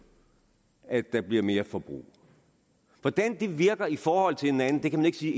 at der bliver mere forbrug hvordan det virker i forhold til hinanden kan man ikke sige